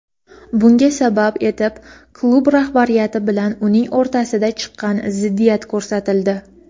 Bunga sabab etib klub rahbariyati bilan uning o‘rtasida chiqqan ziddiyat ko‘rsatildi.